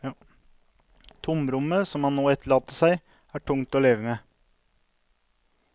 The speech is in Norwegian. Tomrommet som han nå etterlater seg, er tungt å leve med.